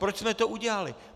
Proč jsme to udělali.